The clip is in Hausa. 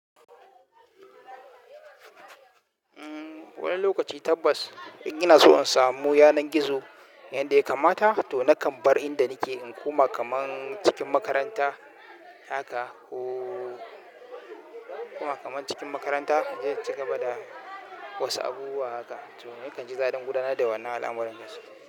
Wani lokaci tabbas in ina so in samu yanar gizo, inda ya kamata to nakan bar inda nake in koma kaman cikin makaranta haka oo in koma kaman cikin makaranta inje in cigaba wasu abubuwa haka. To ni kanji daɗin gudanar da wannan al'amuran gaskiya.